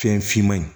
Fɛn finman in